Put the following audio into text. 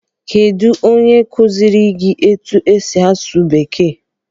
Kedụ onye kụziere gị etu-esi asụ bekee?